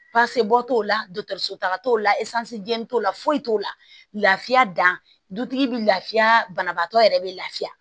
Basibo t'o la dɔkɔtɔrɔso taga t'o la jɛn b'o la foyi t'o la lafiya da dutigi bɛ lafiya banabaatɔ yɛrɛ bɛ lafiya